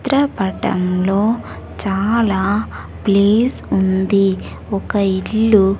చిత్రపటంలో చాలా ప్లేస్ ఉంది ఒక ఇల్లు.